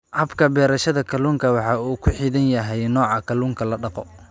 Habka beerashada kalluunka waxa uu ku xidhan yahay nooca kalluunka la dhaqo.